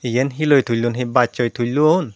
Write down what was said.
eyan he loi tulon he bachoi tulon.